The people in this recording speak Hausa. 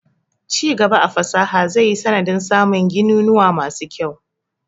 Ci gaba a fasaha zai yi sanadin samun gininuwa masu kyau.